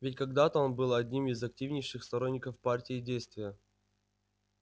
ведь когда-то он был одним из активнейших сторонников партии действия